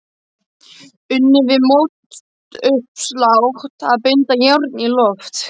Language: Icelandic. Unnið við mótauppslátt og að binda járn í loft.